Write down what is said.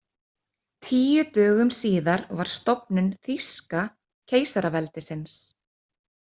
Tíu dögum síðar var stofnun Þýska keisaraveldisins.